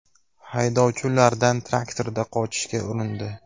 Haydovchi ulardan traktorda qochishga urindi.